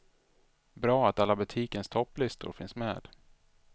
Bra att alla butikens topplistor finns med.